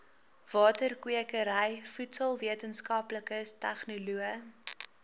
waterkwekery voedselwetenskaplikes tegnoloë